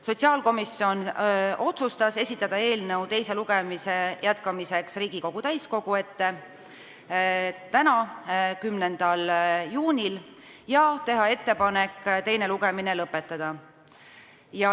Sotsiaalkomisjon otsustas esitada eelnõu teise lugemise jätkamiseks Riigikogu täiskogu ette tänaseks, 10. juuniks, ja teha ettepaneku teine lugemine lõpetada.